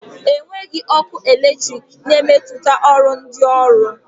Enweghị ọkụ eletrik na-emetụta ọrụ ndị ọrụ